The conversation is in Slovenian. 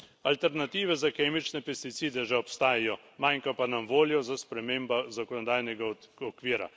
Alternative za kemične pesticide že obstajajo, manjka pa nam volja za spremembo zakonodajnega okvira.